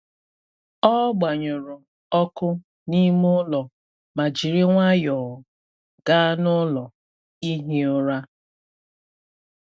Ọ gbanyụrụ ọkụ n’ime ụlọ ma jiri nwayọọ gaa n’ụlọ ihi ụra.